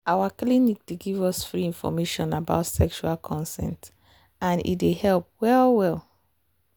our clinic dey give us free information about sexual consent and e dey help well well.